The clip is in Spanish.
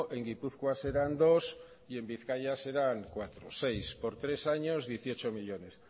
en gipuzkoa serán dos y en bizkaia serán seis por tres años dieciocho millónes